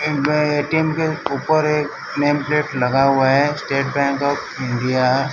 batting के ऊपर एक नेम प्लेट लगा हुआ है स्टेट बैंक ऑफ़ इंडिया --